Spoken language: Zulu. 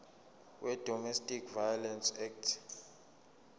wedomestic violence act